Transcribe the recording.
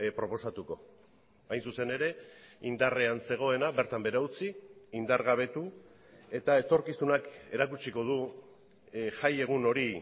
proposatuko hain zuzen ere indarrean zegoena bertan behera utzi indargabetu eta etorkizunak erakutsiko du jaiegun hori